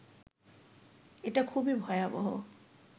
এটা খুবই ভয়াবহ